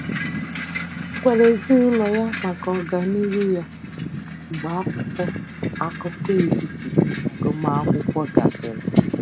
Ọ gwara ezinaụlọ ya maka ọganihu ya mgbe akwụkwọ akụkọ etiti agụmakwụkwọ gasịrị.